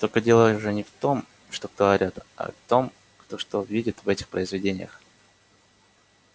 только дело же не в том что кто орёт а в том кто что видит в этих произведениях